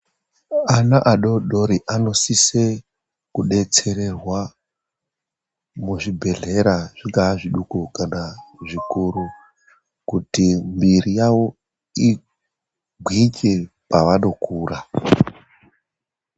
Ana adodori anosise kudetsererwa muzvibhedhlera zvingaa zvidoko kana zvikuru kuti miri yavo igwinye pavanokura.